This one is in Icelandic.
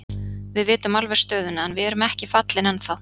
Við vitum alveg stöðuna en við erum ekki fallin ennþá.